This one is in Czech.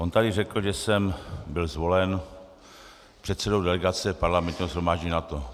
On tady řekl, že jsem byl zvolen předsedou delegace Parlamentního shromáždění NATO.